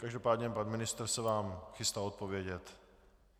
Každopádně pan ministr se vám chystá odpovědět.